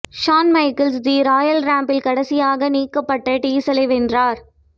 Shawn Michaels the Royal Rumble கடைசியாக நீக்கப்பட்ட டீசலை வென்றார்